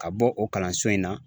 Ka bɔ o kalanso in na.